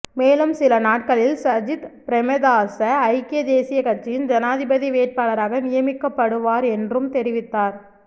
மேலும் சில நாட்களில் சஜித் பிரேமதாச ஐக்கிய தேசியக் கட்சியின் ஜனாதிபதி வேட்பாளராக நியமிக்கப்படுவார் என்றும் தெரிவித்தார்